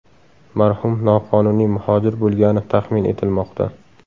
Marhum noqonuniy muhojir bo‘lgani taxmin etilmoqda.